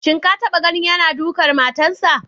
Shin ka taba ganin yana dukan matarsa?